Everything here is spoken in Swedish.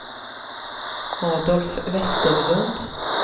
Adolf Westerlund